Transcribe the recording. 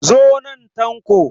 Zo nan Tanko!